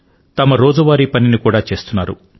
తమ రోజువారీ పనిని కూడా చేస్తున్నారు